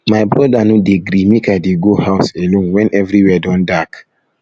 my broda no um dey gree make i dey go um house alone wen everywhere don dark